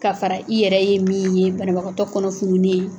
K'a fara i yɛrɛ ye min ye banabagatɔ kɔnɔ fununne